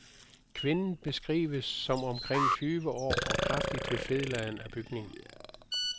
Kvinden beskrives som omkring tyve år og kraftig til fedladen af bygning.